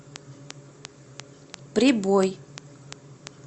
прибой